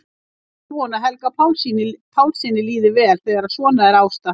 Ekki er von að Helga Pálssyni líði vel þegar svona er ástatt.